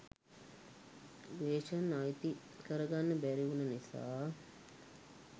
ග්‍රේසන් අයිති කරගන්න බැරිවුන නිසා